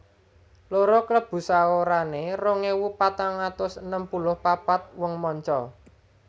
Loro Klebu saorané rong ewu patang atus enem puluh papat wong manca